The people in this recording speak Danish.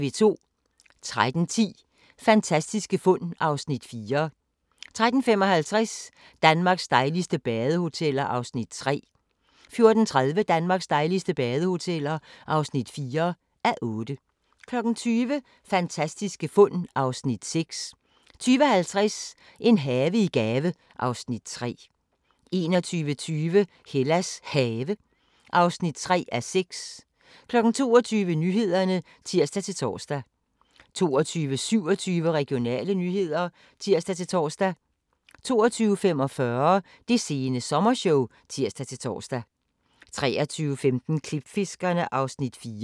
13:10: Fantastiske fund (Afs. 4) 13:55: Danmarks dejligste badehoteller (3:8) 14:30: Danmarks dejligste badehoteller (4:8) 20:00: Fantastiske fund (Afs. 6) 20:50: En have i gave (Afs. 3) 21:20: Hellas Have (3:6) 22:00: Nyhederne (tir-tor) 22:27: Regionale nyheder (tir-tor) 22:45: Det sene sommershow (tir-tor) 23:15: Klipfiskerne (Afs. 4)